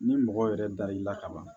Ni mɔgɔ yɛrɛ dar'i la ka ban